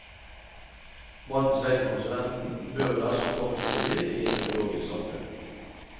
Matens vei til konsumenten bør være så kort som mulig i et økologisk samfunn.